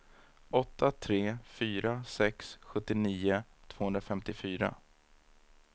åtta tre fyra sex sjuttionio tvåhundrafemtiofyra